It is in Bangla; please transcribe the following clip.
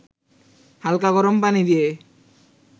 হালকা গরম পানি দিয়ে